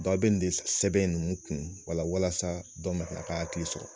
a bɛ nin de sɛbɛn nunnun kun wala walasa dɔ ma a ka hakili sɔrɔ.